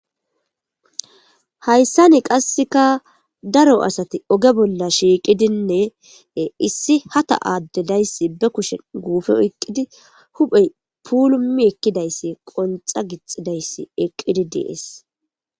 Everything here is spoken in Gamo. Hayssani qasseka daro asati oge bolla shiiqidinne issi hata aaddedayssi be kushen guufe oyqqidi huphey pulumi ekkidayssi qonxa gixidayssi eqqidi dees.